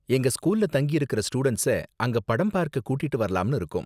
எங்க ஸ்கூல்ல தங்கியிருக்கற ஸ்டூடண்ட்ஸ அங்க படம் பார்க்க கூட்டிட்டு வரலாம்னு இருக்கோம்.